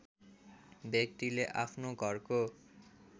व्यक्तिले आफ्नो घरको